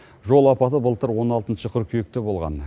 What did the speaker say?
жол апаты былтыр он алтыншы қыркүйекте болған